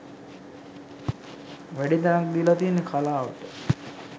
වැඩි තැනක් දීලා තියෙන්නෙ කලාවට.